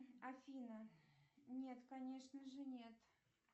афина нет конечно же нет